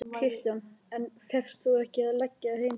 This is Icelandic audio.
Kristján: En fékkst þú ekki að leggja heim til þín?